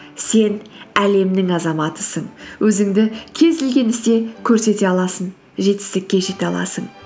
сен әлемнің азаматысың өзіңді кез келген істе көрсете аласың жетістікке жете аласың